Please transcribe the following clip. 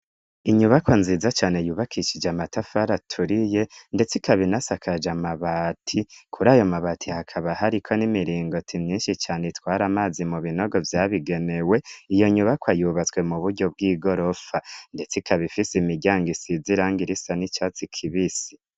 Inyubako nziza cane yubakishije amatafari aturiye, ndetse ikabinasakaje amabati kuri ayo mabati hakaba hariko n'imiringoti myinshi cane itwari amazi mu binogo vyabigenewe iyo nyubako ayubatswe mu buryo bw'i gorofa ndets ikabifise imiryango isizirango irisa n'icatsi kibisi.